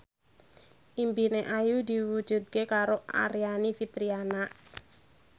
impine Ayu diwujudke karo Aryani Fitriana